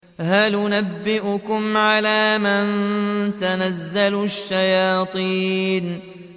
هَلْ أُنَبِّئُكُمْ عَلَىٰ مَن تَنَزَّلُ الشَّيَاطِينُ